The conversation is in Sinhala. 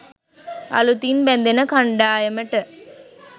අලුතින් බැඳෙන කණ්ඩායමට